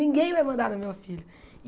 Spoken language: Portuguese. Ninguém vai mandar no meu filho.